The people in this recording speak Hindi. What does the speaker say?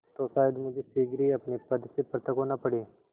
तो शायद मुझे शीघ्र ही अपने पद से पृथक होना पड़े